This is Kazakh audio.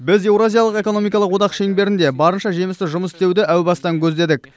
біз еуразиялық экономикалық одақ шеңберінде барынша жемісті жұмыс істеуді әу бастан көздедік